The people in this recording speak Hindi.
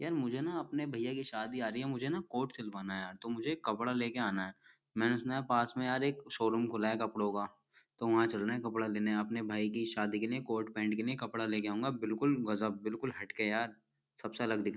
यार मुझे ना अपने भैया की शादी आ रही है मुझे ना कोट सीलवाना है तो मुझे कपड़ा लेकर आना है। मैनें सुना है पास में एक शोरुम खुला है कपड़ो का तो वहाँ चलना है कपड़ा लेने अपने भाई की शादी के लिए कोट पैंट के लिए कपड़ा ले कर आऊंगा बिल्कुल गजब बिल्कुल हट के यार सब से अलग --